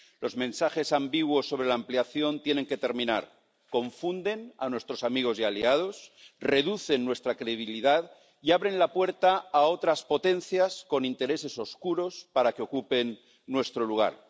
Los mensajes ambiguos sobre la ampliación tienen que terminar. Confunden a nuestros amigos y aliados, reducen nuestra credibilidad y abren la puerta para que otras potencias con intereses oscuros ocupen nuestro lugar.